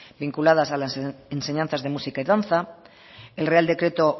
vinculadas a la enseñanza de música y danza el real decreto